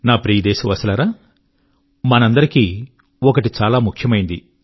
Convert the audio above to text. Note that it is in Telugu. నా ప్రియ దేశవాసులారా మనందరికీ ఒకటి చాలా ముఖ్యమైనది